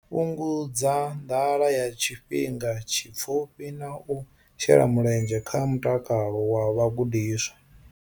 Fhungudza nḓala ya tshifhinga tshipfufhi na u shela mulenzhe kha mutakalo wa vhagudiswa.